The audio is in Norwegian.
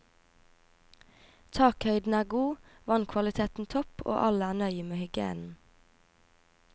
Takhøyden er god, vannkvaliteten topp, og alle er nøye med hygienen.